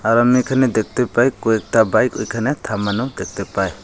আর আমি এখানে দেখতে পাই কয়েকটা বাইক ওইখানে থামানো দেখতে পাই।